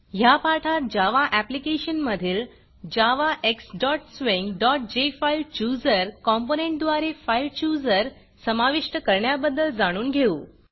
ह्या पाठात Java application मधील javaxswingजेफाईलचूजर कॉम्पोनंटद्वारे फाइल chooserफाईल चुजर समाविष्ट करण्याबद्दल जाणून घेऊ